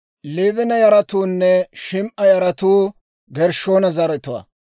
Liibina yaratuunne Shim"a yaratuu Gershshoona zaratuwaa.